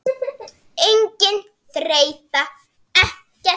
Engin þreyta, ekkert.